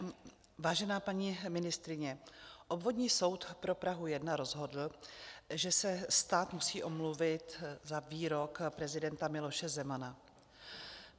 Vážená paní ministryně, Obvodní soud pro Prahu 1 rozhodl, že se stát musí omluvit za výrok prezidenta Miloše Zemana.